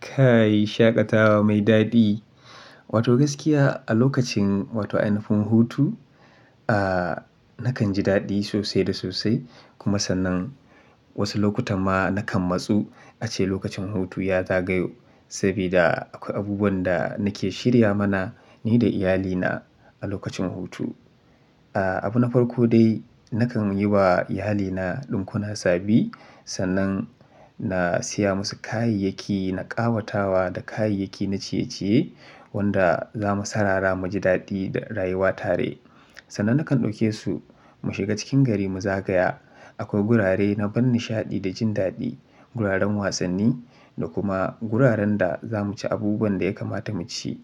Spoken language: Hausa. Kai shaƙatawa mai daɗi. Wato gaskiya a lokacin wato a yanayin hutu, ah nakan ji daɗi sosai da sosai kuma sannan wasu lokuta ma nakan matsu ace lokacin hutu ya zagayo. Saboda akwai abubuwan da nake shirya mana ni da iyalina a lokacin hutu. Ah abu na farko dai nakan yi wa iyalina ɗinkuna sabi sannan na siya musu kayayyaki na ƙawatawa da kayayyaki na ciye-ciye wanda za mu saurara mu ji daɗi da rayuwa tare. Sannan nakan ɗauke su mu shiga cikin gari mu zagaya. Akwai gurare na ban nishaɗi da jin daɗi, guraren wasanni da kuma guraren da za mu ci abubuwan da ya kamata mu ci